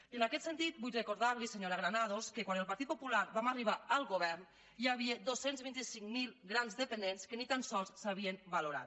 i en aquest sentit vull recordar li senyora granados que quan el partit popular vam arribar al govern hi havia dos cents i vint cinc mil grans dependents que ni tan sols s’havien valorat